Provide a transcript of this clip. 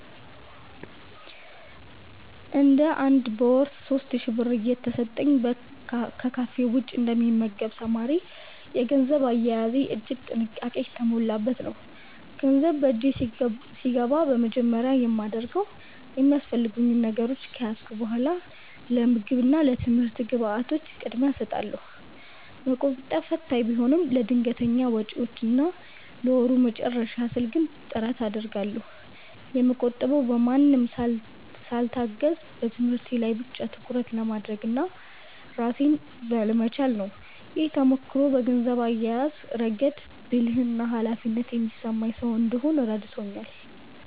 እንደ አንድ በወር 3,000 ብር እየተሰጠኝ ከካፌ ውጭ እንደ ሚመገብ ተማሪ፤ የገንዘብ አያያዜ እጅግ ጥንቃቄ የተሞላበት ነው። ገንዘብ በእጄ ሲገባ በመጀመሪያ የማደርገው የሚያስፈልጉኝ ነገሮች ከያዝኩ በኃላ ለምግብ እና ለትምህርት ግብዓቶች ቅድሚያ እሰጣለሁ። መቆጠብ ፈታኝ ቢሆንም፤ ለድንገተኛ ወጪዎችና ለወሩ መጨረሻ ስል ግን ጥረት አደርጋለሁ። የምቆጥበውም በማንም ሳልታገዝ በትምህርቴ ላይ ብቻ ትኩረት ለማድረግና ራሴን ለመቻል ነው። ይህ ተሞክሮ በገንዘብ አያያዝ ረገድ ብልህና ኃላፊነት የሚሰማኝ ሰው እንድሆን ረድቶኛል።